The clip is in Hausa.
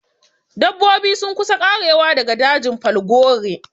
Dabbobi sun kusa ƙarewa daga dajin falgore